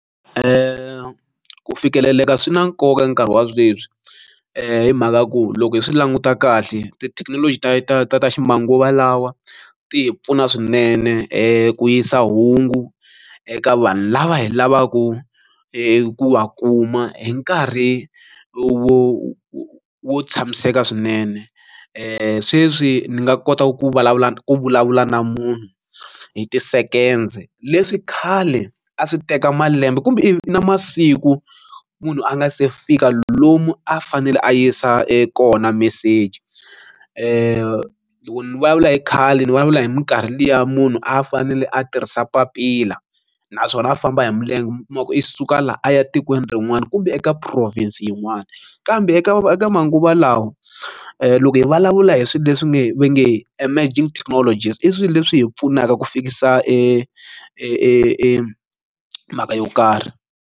ku fikeleleka swi na nkoka nkarhi wa sweswi hi mhaka ku loko hi swi languta kahle tithekinoloji ta ta ta ta ximanguva lawa ti hi pfuna swinene ku yisa hungu eka vanhu lava hi lavaku hi ku wa kuma hi nkarhi wo wo wo tshamiseka swinene e sweswi ni nga kotaka ku vulavula na ku vulavula na munhu hi ti-second leswi khale a swi teka malembe kumbe ivi na masiku munhu a nga se fika lomu a fanele a yisa e kona meseji lero loko ni vulavula hi khale ni vulavula hi minkarhi liya munhu a fanele a tirhisa papila naswona a famba hi milenge mi kuma ku i suka laha a ya etikweni rin'wana kumbe eka province yin'wani kambe eka eka manguva lawa loko hi vulavula hi swilo leswi nge va nge emerging technology i swilo leswi hi pfunaka ku fikisa e mhaka yo karhi.